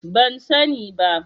Ban sani ba.